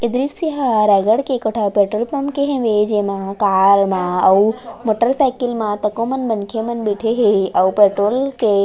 दृश्य हा रायगढ़ के एको ठा पेट्रोल पंप के हवे जेमा कार मा अउ मोटर साइकिल म तको मनखे मन बइठे हे ओ पेट्रोल के--